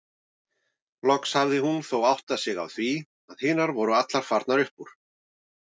Loks hafði hún þó áttað sig á því að hinar voru allar farnar upp úr.